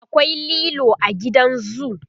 akwai lilo a gidan zoo